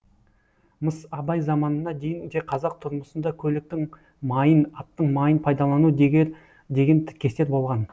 мыс абай заманына дейін де қазақ тұрмысында көліктің майын аттың майын пайдалану деген тіркестер болған